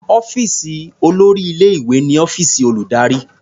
Ọ́fíìsì olórí ilé-ìwé ni ọ́fíìsì olùdarí.